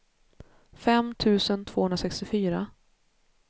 fem tusen tvåhundrasextiofyra